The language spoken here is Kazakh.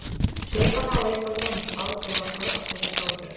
жай ғана лайк басамыз ал сол арқылы ақша жасап отыр